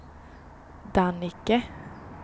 Dannike